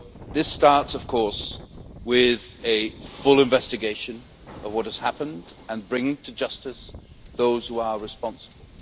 This starts, of course, with a full investigation of what has happened and bringing to justice those who are responsible.